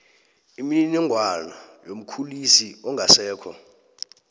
imininingwana yomkhulisi ongasekho